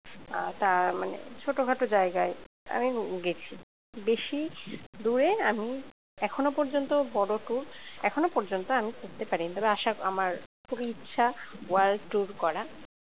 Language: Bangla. আহ তার মানে ছোটখাটো জায়গায় আমি গেছি বেশি দূরে আমি এখনো পর্যন্ত বড় tour এখনো পর্যন্ত আমি করতে পারিনি তবে আশা আমার খুবই ইচ্ছা world tour করার